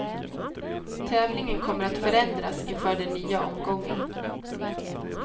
Tävlingen kommer att förändras inför den nya omgången.